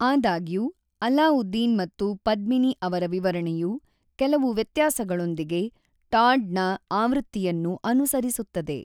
ಆದಾಗ್ಯೂ, ಅಲಾವುದ್ದೀನ್ ಮತ್ತು ಪದ್ಮಿನಿ ಅವರ ವಿವರಣೆಯು ಕೆಲವು ವ್ಯತ್ಯಾಸಗಳೊಂದಿಗೆ ಟಾಡ್‌ ನ ಆವೃತ್ತಿಯನ್ನು ಅನುಸರಿಸುತ್ತದೆ.